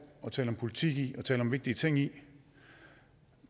at tale om politik i og tale om vigtige ting i